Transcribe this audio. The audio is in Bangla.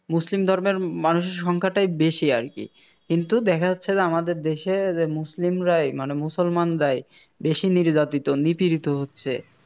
মুসলিম ধর্মের মানুষের সংখ্যাটাই বেশি আরকি কিন্তু দেখা যাচ্ছে যে আমাদের দেশের মুসলিমরাই মানে মুসলমানরাই বেশি নির্যাতিত নিপীড়িত হচ্ছে